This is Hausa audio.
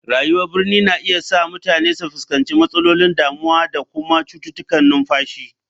Rayuwar birni na iya sa mutane su fuskanci matsalolin damuwa da kuma cututtukan numfashi.